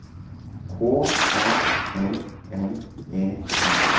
K A L L E R